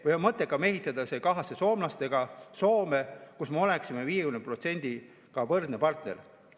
Vahest on mõttekam ehitada kahasse soomlastega Soome, kus me oleksime 50%-ga võrdne partner?